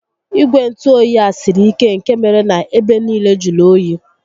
Igwe ntụoyi a siri ike nkè mere na ebe nille jụrụ óyi